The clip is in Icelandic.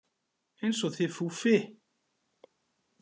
Eins og þið Fúffi